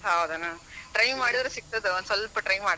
ಹೌದನ try ಮಾಡಿದ್ರ ಸಿಗ್ತದ ಒಂದ್ ಸ್ವಲ್ಪ try ಮಾಡ್.